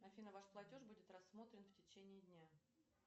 афина ваш платеж будет рассмотрен в течении дня